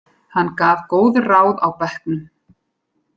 Hann gaf góð ráð á bekknum.